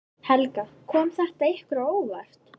Helga: Kom þetta ykkur á óvart?